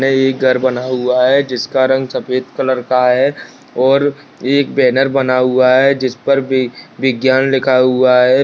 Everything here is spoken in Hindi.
यह एक घर बना हुआ है जिसका रंग सफेद कलर का है और एक बैनर बना हुआ है जिस पर वि विज्ञान लिखा हुआ है।